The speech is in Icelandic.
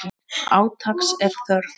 Átaks er þörf.